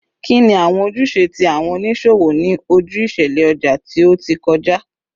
Kini awọn ojuse ti awọn oniṣowo ni oju iṣẹlẹ ọja ti o ti kọja?